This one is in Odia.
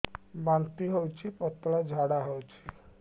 ବାନ୍ତି ହଉଚି ପତଳା ଝାଡା ହଉଚି